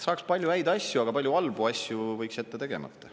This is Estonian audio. Saaks palju häid asju, aga palju halbu asju võiks jätta tegemata.